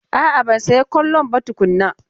A'a ban saya kollon ba tukuna.